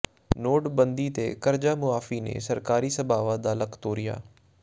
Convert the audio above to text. ਨੋਟਬੰਦੀ ਤੇ ਕਰਜ਼ਾ ਮੁਆਫ਼ੀ ਨੇ ਸਹਿਕਾਰੀ ਸਭਾਵਾਾ ਦਾ ਲੱਕ ਤੋੜਿਆ